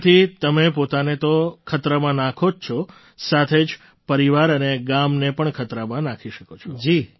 તેનાથી તમે પોતાને તો ખતરામાં નાખો જ છો સાથે જ પરિવાર અને ગામને પણ ખતરામાં નાખી શકો છો